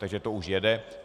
Takže to už jede.